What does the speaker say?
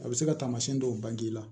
A bɛ se ka taamasiyɛn dɔw bange la